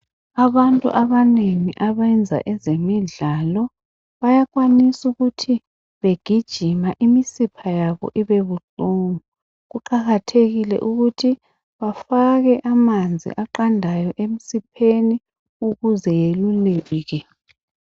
Abantu abanengi abenza ezemidlalo, bayakwanisa ukuthi begijima imisipha yabo ibe buhlungu. Kuqakathekile ukuthi bafake amanzi aqandayo emsipheni ukuze yeluleke.